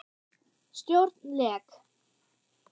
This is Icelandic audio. Stjórn LEK